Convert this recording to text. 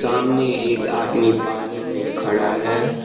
सामने एक आदमी पानी में खड़ा है।